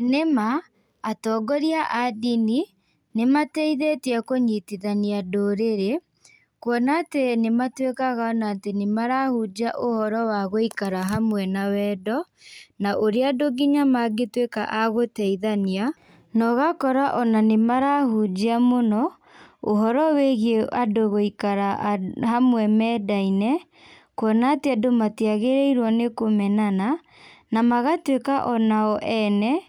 Nĩma, atongoria a ndini, nĩmateithĩtie kũnyitithania ndũrĩrĩ, kuona atĩ nĩmatuĩkaga ona atĩ nĩmahũnjia ũhoro wa gũikara hamwe na wendo, na ũrĩa andũ nginya mangĩtuĩka a gũteithania, na ũgakora ona nĩmarahunjia mũno, ũhoro wĩgiĩ andũ gũikara hamwe mendaine, kuona atĩ andũ matiagĩrĩirwo nĩkũmenana, na magatuĩka onao ene,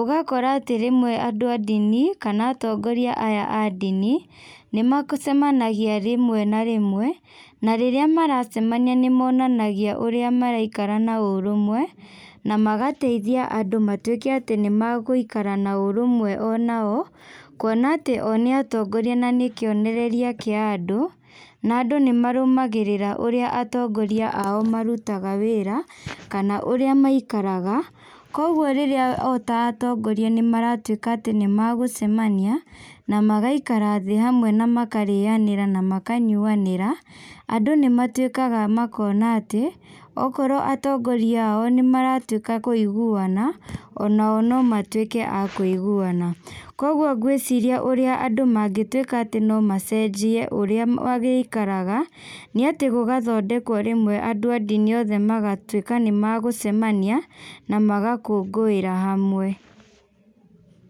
ũgakora atĩ rĩmwe andũ a ndini, kana atongoria aya a ndini, nĩmacemanagia rĩmwe na rĩmwe, na rĩrĩa maracemania nĩmonanagia ũrĩa maraikara na ũrũmwe, na magateithia andũ matuĩke atĩ nĩmagũikara na ũrũmwe onao, kuona atĩ o nĩ atongoria na nĩkionereria kĩa andũ, na andũ nĩmarũmagĩrĩra ũrĩa atongoria ao marutaga wĩra, kana ũrĩa maikaraga, koguo rĩrĩa o ta atongoria nĩmaratuĩka atĩ nĩmagũcemania, namagaikara thĩ hamwe namakarĩanĩra namakanyuanĩra, andũ nĩmatuĩkaga makona atĩ, okorwo atongoria ao nĩmaratuĩka a kũiguana, onao no matuĩke a kuiguana. Koguo ngwĩciria ũrĩa andũ mangĩtuĩka atĩ no macenjie ũrĩa marĩikaraga, nĩ atĩ gũgathondekwo rĩmwe andũ a ndini othe magatuĩka nĩ magũcemania, na magakũngũĩra hamwe.